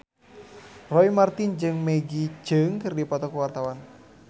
Roy Marten jeung Maggie Cheung keur dipoto ku wartawan